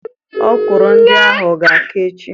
Ọkwụrụ ndị ahụ ga-aka echi.